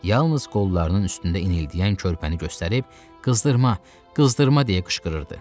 Yalnız qollarının üstündə inildəyən körpəni göstərib qızdırma, qızdırma deyə qışqırırdı.